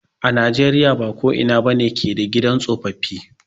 A na jeriya ba ko ina ba ne ke da gidan tsofaffi.